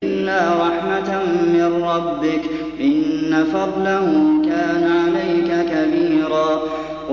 إِلَّا رَحْمَةً مِّن رَّبِّكَ ۚ إِنَّ فَضْلَهُ كَانَ عَلَيْكَ كَبِيرًا